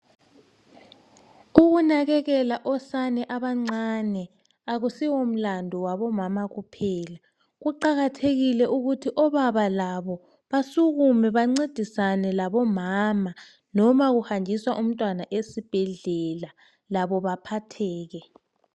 Ukunakekela osane abancane kakusiwomlandu wabomama kuphela. Kuqakathekile ukuthi obaba labo basukume , bancedisane labomama. Noba kuhanjiswa umntwana esibhedlela labo baphatheke.